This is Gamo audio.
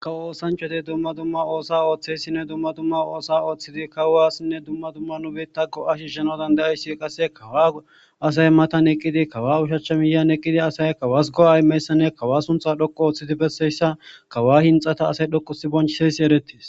Kawo osanachati dumma dumma oosa ooththeyssinne dumma dumma oosa ooththidi kawaaasinne dumma dumma nu beitta go7a shishshenodan da7ayssi qasse kawa asay matan eqqidi kawa ushachcha miyan eqqidi asay kawas go7ay meyssanne kawa suntha dhoqu ooththidi besseyssa kawa hinxata asay dhoqusi bonchiseyssi erettis